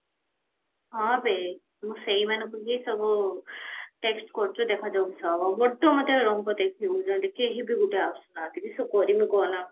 ହଁ ସେଇ ମୁଁ ସେଇମାନଙ୍କୁ ହିଁ ସବୁ text କରୁଚି ଦେଖାଯାଉ କିସ ହବ ଯଦି କେହି ବି ଗୋଟେ ଆସୁନାହାନ୍ତି କିସ କରିମି କହନା